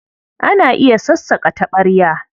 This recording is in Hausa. Ana iya sassaƙa taɓarya?